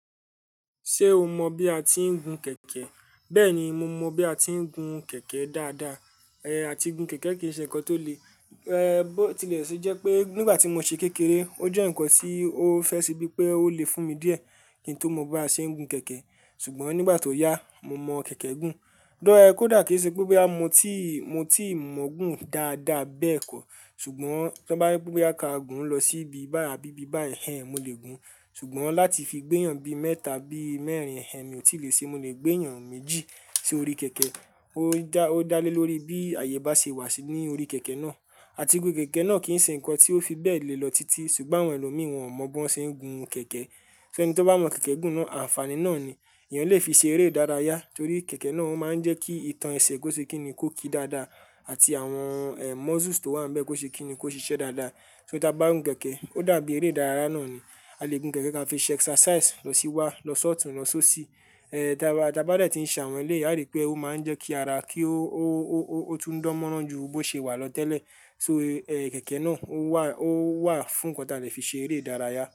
Ṣé o mọ bí a ti ń gun kẹ̀kẹ́? Bẹ́ẹ̀ni, mo mọ bí a ti ń gun kẹ̀kẹ́ dáadáa. Ẹ̀ àti gun kẹ̀kẹ́ kì í ṣe ǹkan tó lè, ẹ́ bó tilẹ̀ ṣe jẹ́ pé nígbà tí mo ṣe kékeré o jẹ́ ǹkan tí ó fẹ́ ṣe bíi pé ó lè fún mi díẹ̀ kí n tó mọ bí a ṣe ń gun kẹ̀kẹ́. Ṣùgbọ́n nígbà tó yá, mo mọ kẹ̀kẹ́ gùn. Dọ́ẹ́ kò dà kí ṣe pé bó bá mo ti mo ti mọ̀ gùn dáadáa bẹ́ẹ̀ kọ́. Ṣùgbọ́n tí o bá bíi pé a ka gùn lọ síbi báa bíi bá ẹ̀hen mo lè gùn. Ṣùgbọ́n láti fi gbéyàn bí i mẹ́ta bí i mẹ́rin ẹ̀hen mi ò tí lè ṣe. Mo lè gbéyàn méjì sí orí kẹ̀kẹ́. Ó dá lé lórí bí àyè bá ṣe wà sí ní orí kẹ̀kẹ́ náà. Àti pé kẹ̀kẹ́ náà kì í ṣe ǹkan tí ó fi bẹ́ẹ̀ le lọ títí. Ṣùgbọ́n àwọn ẹlòmíì wọn ò mọ̀ bó ṣe ń gun kẹ̀kẹ́. Ṣé ẹni tí ó bá mọ kẹ̀kẹ́ gùn náà àǹfàní náà ni. Ẹ̀yàn lè fi ṣe eré ìdárayá torí kẹ̀kẹ́ náà ó máa ń jẹ́ kí ìtàn ẹsẹ̀ kó ṣe kí ni kó ki dáadáa àti àwọn muscles tó wà níbẹ̀ kó ṣe kí ni kó ṣiṣẹ́ dáadáa. Torí tí a bá gun kẹ̀kẹ́ ó dàbí eré ìdárayá náà ni. A lè gun kẹ̀kẹ́ ká fi ṣe exercise lọ sí wá lọ sọ́ọ̀tì lọ só sí. Tí a bá lè tí ń ṣàwọn ilé, a rí pé ó máa ń jẹ́ kí ara kí ó tún dánmọ́rán ju bó ṣe wà lọ tẹ́lẹ̀. So ẹ̀ kẹ̀kẹ́ náà ó wà fún ǹkan tí a lè fi ṣe eré ìdárayá.